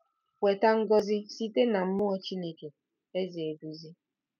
Weta ngọzi Site na Mmụọ Chineke - Eze eduzi!